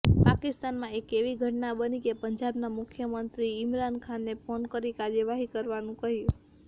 પાકિસ્તાનમાં એક એવી ઘટના બની કે પંજાબના મુખ્યમંત્રીએ ઈમરાન ખાનને ફોન કરી કાર્યવાહી કરવાનું કહ્યું